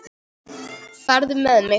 Farðu með mig.